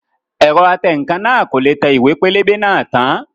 Ẹ̀rọ atẹǹkan náà kò le tẹ ìwé pélébé náà tán